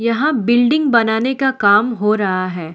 यहां बिल्डिंग बनाने का काम हो रहा है।